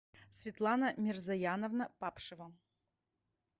светлана мирзаяновна папшева